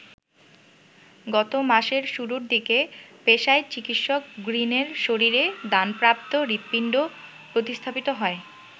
গত মাসের শুরুর দিকে পেশায় চিকিৎসক গ্রিনের শরীরে দানপ্রাপ্ত হৃদপিণ্ড প্রতিস্থাপিত হয়।